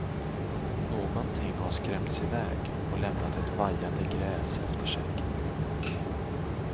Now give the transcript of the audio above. Någonting har skrämts iväg och lämnat vajande gräs efter sig.